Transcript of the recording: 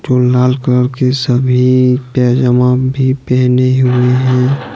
जो लाल कलर के सभी पैजामा भी पहने हुए है।